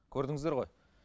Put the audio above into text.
көрдіңіздер ғой